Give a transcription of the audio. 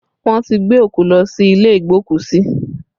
Wọn ti gbé òkú lọ sí ilé igbokusi